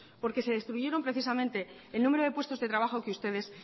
porque se destruyeron precisamente el número de puestos de trabajo que ustedes